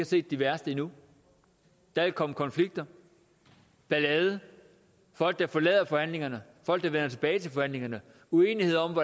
set de værste endnu der vil komme konflikter ballade folk der forlader forhandlingerne folk der vender tilbage til forhandlingerne og uenighed om